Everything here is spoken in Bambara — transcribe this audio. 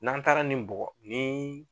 N'an taara nin bɔgɔ nin